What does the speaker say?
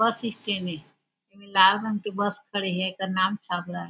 बस stand हे लाल रंग के बस खड़े हे एकर नाम छाबड़ा हे।